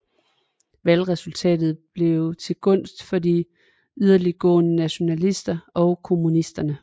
Valgresultatet blev til gunst for de yderligtgående nationalister og kommunisterne